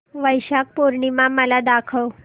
वैशाख पूर्णिमा मला दाखव